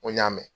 N ko n y'a mɛn